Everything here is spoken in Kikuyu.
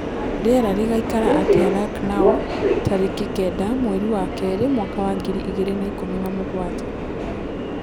rĩera rĩgaĩkara atĩa lucknow tarĩkĩ kenda mwerĩ wa keri mwaka wa ngiri ĩgĩrĩ na ĩkũmĩ na mũgwanja